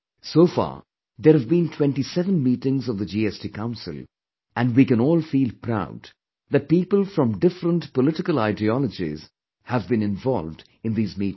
So far, there have been 27 meetings of the GST Council and we can all feel proud that people from different political ideologies have been involved in these meetings